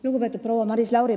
Lugupeetud proua Maris Lauri!